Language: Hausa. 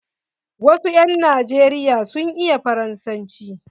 Wasu 'yan najeriya sun iya Faransanci.